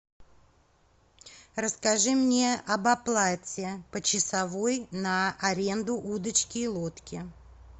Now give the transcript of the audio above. расскажи мне об оплате почасовой на аренду удочки и лодки